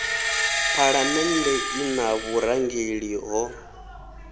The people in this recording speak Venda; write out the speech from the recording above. phalamennde i na vhurangeli ho